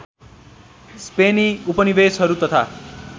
स्पेनी उपनिवेशहरू तथा